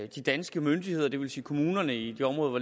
de danske myndigheder det vil sige kommunerne i de områder hvor